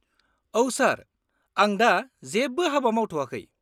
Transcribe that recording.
-औ सार, आं दा जेबो हाबा मावथ'याखै।